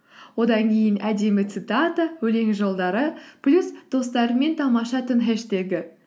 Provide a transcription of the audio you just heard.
одан кейін әдемі цитата өлең жолдары плюс достарыңмен тамаша түн хэштегі